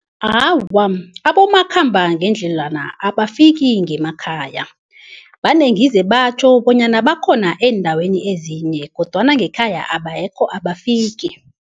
Awa, abomakhambangendledlwana abafiki ngemakhaya. Vane ngizwe batjho bonyana bakhona eendaweni ezinye kodwana ngekhaya abekho, abafiki.